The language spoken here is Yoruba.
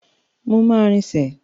Mo máa rinsẹ̀.